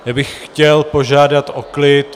Já bych chtěl požádat o klid.